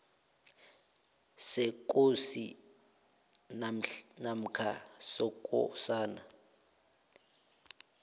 sekosi namkha sekosana